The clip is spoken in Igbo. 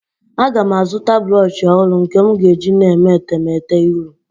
Aga m azụta brọshị ọhụrụ nke m ga-eji na-eme etemete iru.